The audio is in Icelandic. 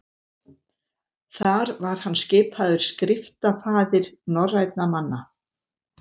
þar var hann skipaður skriftafaðir norrænna manna